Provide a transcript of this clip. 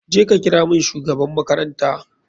Je ka kira mun shugaban makaranta.